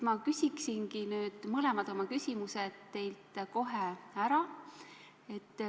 Ma küsiksin nüüd mõlemad oma küsimused teilt kohe ära.